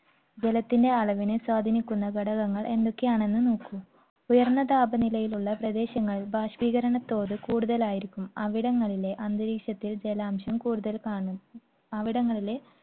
ജലത്തിന്റെ അളവിനെ സ്വാധീനിക്കുന്ന ഘടകങ്ങൾ എന്തൊക്കെയാണെന്ന് നോക്കൂ. ഉയർന്ന താപനിലയിലുള്ള പ്രദേശങ്ങൾ, ബാഷ്പീകരണത്തോത് കൂടുതലായിരിക്കും അവിടങ്ങളിലെ അന്തരീക്ഷത്തിൽ ജലാംശം കൂടുതൽ കാണും. അവിടങ്ങളിലെ